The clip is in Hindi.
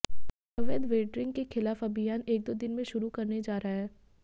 अवैध वेंडरिंग के खिलाफ अभियान एक दो दिन में शुरू करने जा रहे हैं